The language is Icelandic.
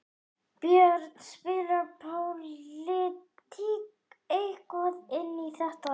Björn: Spilar pólitík eitthvað inn í þetta?